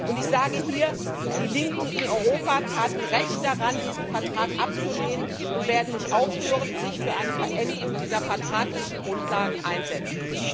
Und ich sage hier, dass die Linken in Europa recht daran taten, diesen Vertrag abzulehnen, und sie werden nicht aufhören, sich für eine Veränderung dieser vertraglichen Grundlagen einzusetzen.